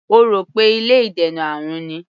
Ó rò pé ilé ìdènà àrùn ni.